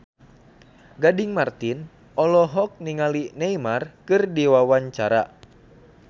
Gading Marten olohok ningali Neymar keur diwawancara